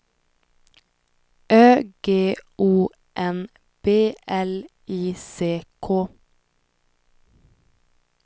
Ö G O N B L I C K